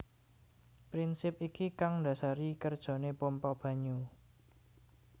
Prinsip iki kang ndasari kerjane pompa banyu